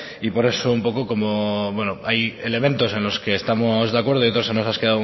por eso hay elementos en los que estamos de acuerdo y otras